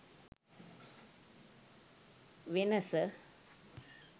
venasa